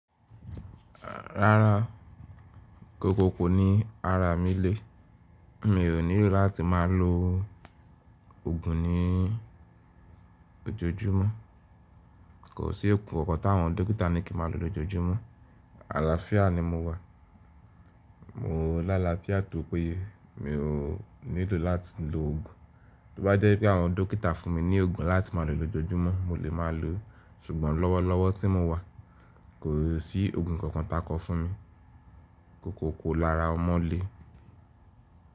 Rárá, kòkòkò ni ara mi le. Mi ò nílò láti má lo ògùn ní òjòjúmọ́. Kò sí ògùn kankan ta àwọn dókítà ní kí ma lo lójoojúmọ́. Àlàáfíà ni mo wà. Mo lálàáfíà tó pé ye mi ò nílò láti lo òògùn. Tó bá jẹ́ pé àwọn dókítà fún mi ní ògùn láti má lo lójoojúmọ́, mo lè má lo. Ṣùgbọ́n lọ́wọ́lọ́wọ́ tí mo wà, kò sí òògùn kankan ta kọ fún mi. Kòkòkò lára ọmọ lé.